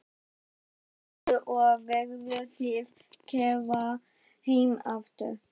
Ingveldur: Og verðið þið keyrðar heim aftur?